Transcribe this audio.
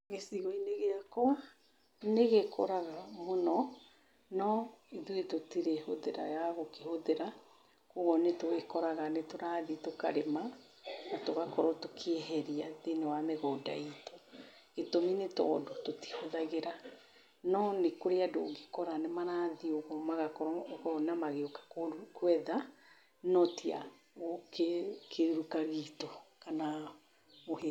Gĩcigo-inĩ gĩakwa, nĩ gĩkũraga mũno no ithuĩ tũtirĩ hũthĩra ya gũkĩhũthĩra, kwoguo, nĩ tũgĩkoraga nĩ tũrathi tũkarĩma na tũgakorwo tũkĩeheria thĩinĩ wa mĩgũnda itũ. Gĩtũmi nĩ tondũ tũtihũthagĩra. No nĩ kũrĩ andũ ũngĩkora nĩ marathiĩ ũguo magakorwo, ũkona magĩũka kũetha, no ti a ũ kĩruka gitũ, kana -